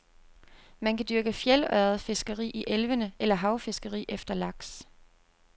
Man kan dyrke fjeldørredfiskeri i elvene eller havfiskeri efter laks.